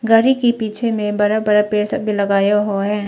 गाड़ी के पीछे में बड़ा बड़ा पेड़ सब भी लगाया हुआ है।